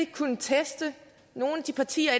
kunnet teste nogle af de partier